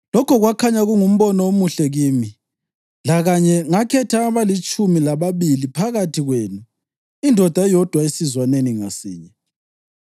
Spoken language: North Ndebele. Lokho kwakhanya kungumbono omuhle kimi; lakanye ngakhetha abalitshumi lababili phakathi kwenu, indoda eyodwa esizwaneni ngasinye.